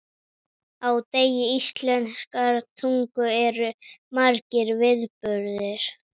Á degi íslenskrar tungu eru margir viðburðir.